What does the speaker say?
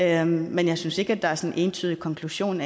er men jeg synes ikke at der er sådan en entydig konklusion